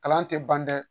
Kalan tɛ ban dɛ